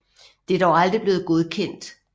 Det er dog aldrig blevet godkendt